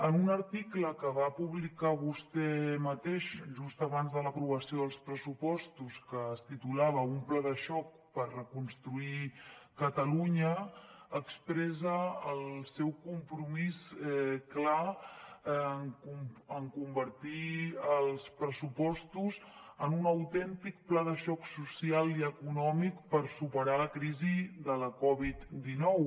en un article que va publicar vostè mateix just abans de l’aprovació dels pressupostos que es titulava un pla de xoc per reconstruir catalunya expressa el seu compromís clar de convertir els pressupostos en un autèntic pla de xoc social i econòmic per superar la crisi de la coviddinou